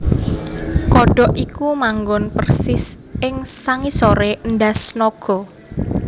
Kodhok iki manggon persis ing sangisoré endhas naga